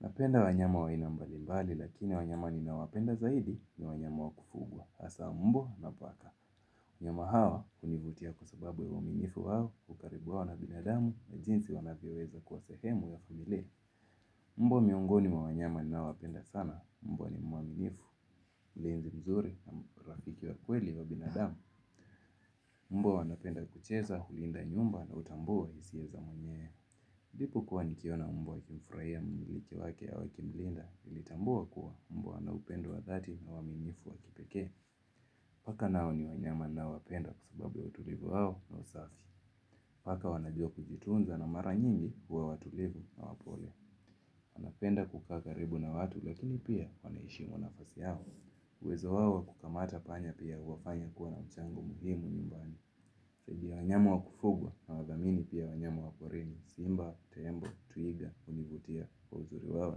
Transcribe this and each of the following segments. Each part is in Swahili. Napenda wanyama wa aina mbalimbali lakini wanyama ninawapenda zaidi ni wanyama wa kufugwa. Hasa mbwa na paka. Wanyama hawa hunivutia kwa sababu ya uaminifu wao hukaribu wao na binadamu na jinsi wanavyoweza kwa sehemu ya familia. Mbwa miongoni mwa wanyama ninaowapenda sana. Mbwa ni mwaminifu, mlinzi mzuri na rafiki wa kweli wa binadamu. Mbwa wanapenda kucheza, hulinda nyumba na hutambua hisia za mwenye. Nilipokua nikiona mbwa akimfurahia mmiliki wake au akimlinda nilitambua kuwa. Mbwa ana upendo wa dhati na uaminifu wa kipekee. Paka nao ni wanyama ninaowapenda kwa sababu ya watulivu wao na usafi. Paka wanajua kujitunza na mara nyingi hua watulivu na wapole. Wanapenda kukaa karibu na watu lakini pia wanaheshimu nafasi yao. Uwezo wao kukamata panya pia huwafanya kuwa na mchango muhimu nyumbani. Zaidi ya wanyama wa kufugwa nawadhamini pia wanyamu wa porini. Simba, tembo, twiga, hunivutia kwa uzuri wao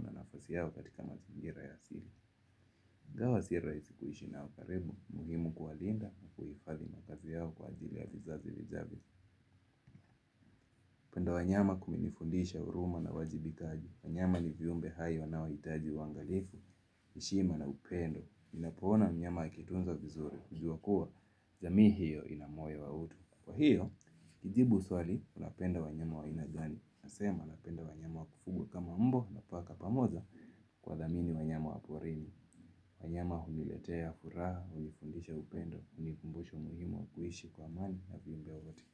na nafasi yao katika mazingira ya asili. Ingawa si rahisi kuishi nao karibu, ni muhimu kuwalinda na kuhifadhi makazi yao kwa ajili ya vizazi vijavyo. Kupenda wanyama kumenifundisha huruma na uwajibikaji. Wanyama ni viumbe hai wanaohitaji huangalifu, heshima na upendo. Unapoona mnyama akitunzwa vizuri, jua kuwa, jamii hiyo ina moyo wa utu. Kwa hiyo, kujibu swali, unapenda wanyama wa aina gani. Nasema, napenda wanyama wakufugwa kama mbwa na paka pamoja kuwadhamini wanyama wa porini. Wanyama huniletea furaha, hunifundisha upendo, hunikumbusha umuhimu wa kuishi kwa amani na viumbe wote.